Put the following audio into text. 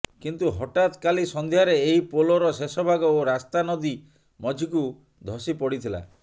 କିନ୍ତୁ ହଠାତ୍ କାଲି ସଂଧ୍ୟାରେ ଏହି ପୋଲର ଶେଷଭାଗ ଓ ରାସ୍ତା ନଦୀ ମଝିକୁ ଧସି ପଡିଥିଲା